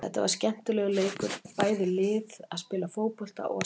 Þetta var skemmtilegur leikur, bæði lið að spila fótbolta og að sækja.